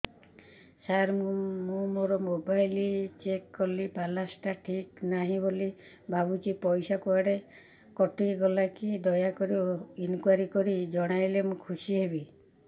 ସାର ମୁଁ ମୋର mobile check କଲି ବାଲାନ୍ସ ଟା ଠିକ ନାହିଁ ବୋଲି ଭାବୁଛି ପଇସା କୁଆଡେ କଟି ଗଲା କି ଦୟାକରି ଇନକ୍ୱାରି କରି ଜଣାଇଲେ ମୁଁ ଖୁସି ହେବି